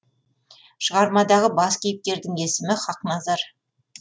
шығармадағы бас кейіпкердің есімі хақназар